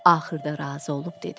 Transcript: Axırda razı olub dedi: